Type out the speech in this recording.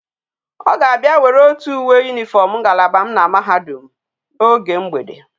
O ga abia were otu uwe uniform ngalaba m na mahadum a oge mgbede